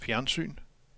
fjernsyn